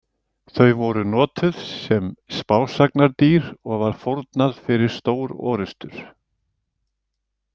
Þau voru notuðu sem spásagnardýr og var fórnað fyrir stórorrustur.